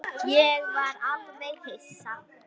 Ég var alveg hissa.